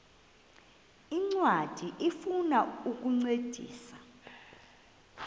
ncwadi ifuna ukukuncedisa